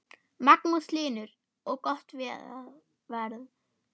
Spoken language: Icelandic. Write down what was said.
Magnús Hlynur: Og gott verð?